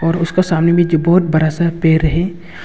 उसका सामने बहुत बड़ा सा पेड़ है।